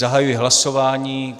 Zahajuji hlasování.